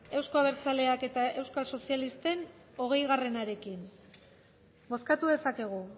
eusko abertzaleak eta euskal sozialisten hogeiarekin bozkatu dezakegu